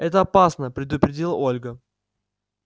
это опасно предупредила ольга